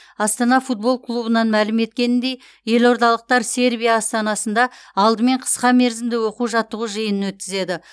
астана футбол клубынан мәлім еткеніндей елордалықтар сербия астанасында алдымен қысқа мерзімді оқу жаттығу жиынын өткізеді